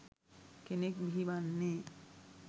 කෙනෙක් බිහි වන්නේ.